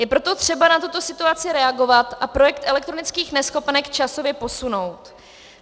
Je proto třeba na tuto situaci reagovat a projekt elektronických neschopenek časově posunout.